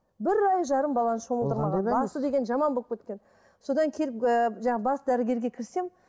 бір ай жарым баланы шомылдырмаған басы деген жаман болып кеткен содан келіп ыыы бас дәрігерге кірсем